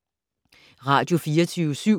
Radio24syv